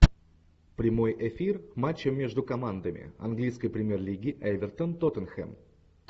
прямой эфир матча между командами английской премьер лиги эвертон тоттенхэм